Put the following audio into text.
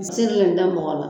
N te se ka nin da mɔgɔ la.